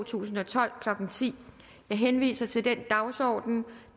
tusind og tolv klokken ti jeg henviser til den dagsorden